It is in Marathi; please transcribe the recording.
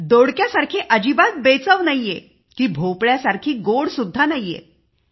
दोडक्या सारखी बेचव नव्हती भोपळ्यासारखी गोड सुद्धा नव्हती